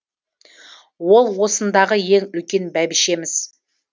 ол осындағы ең үлкен бәйбішеміз